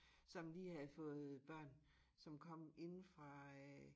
Som lige havde fået børn som kom inde fra øh